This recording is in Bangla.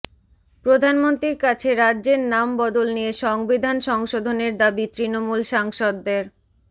প্রধানমন্ত্রীর কাছে রাজ্যের নাম বদল নিয়ে সংবিধান সংশোধনের দাবি তৃণমূল সাংসদদের